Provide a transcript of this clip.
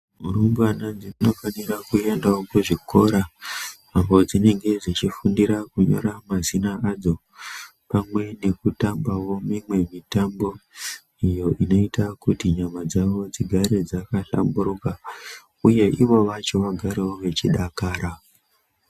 Rumbwana dzinofanirwa kuenda kuzvikora uko kwadzinenge dzechifundira kunyora mazina adzo pamwe nekuta mbawo mimwe mitambo iyo inoita kuti nyama dzavo dzigare dzaka hlamburika uye ivo vacho vagare vechidakara.